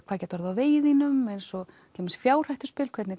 hvað gæti orðið á vegi þínum eins og til dæmis fjárhættuspil hvernig